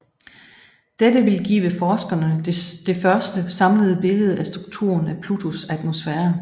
Dette vil give forskerne det første samlede billede af strukturen af Plutos atmosfære